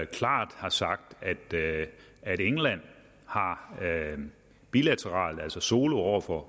klart har sagt at england bilateralt altså solo over for